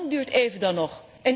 Hoe lang duurt even dan nog?